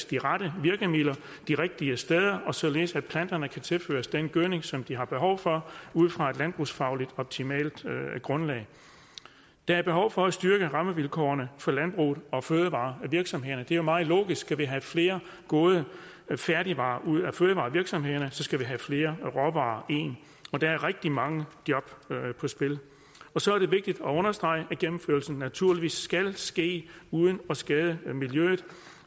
de rette virkemidler de rigtige steder og således at planterne kan tilføres den gødning som de har behov for ud fra et landbrugsfagligt optimalt grundlag der er behov for at styrke rammevilkårene for landbruget og fødevarevirksomhederne det er jo meget logisk skal vi have flere gode færdigvarer ud af fødevarevirksomhederne skal vi have flere råvarer ind og der er rigtig mange job på spil så er det vigtigt at understrege at gennemførelsen naturligvis skal ske uden at skade miljøet